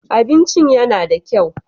Abincin yana da kyau.